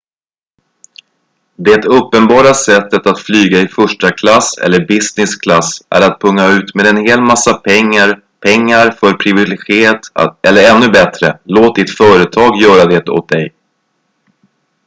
det uppenbara sättet att flyga i första klass eller business class är att punga ut med en hel massa pengar för privilegiet eller ännu bättre låt ditt företag göra det åt dig